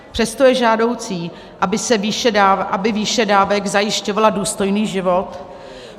Přesto je žádoucí, aby výše dávek zajišťovala důstojný život.